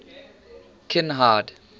kinhide